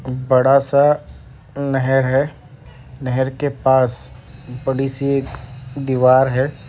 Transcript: बड़ा सा नहर है नहर के पास बड़ी सी एक दीवार है।